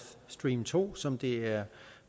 stream to som det er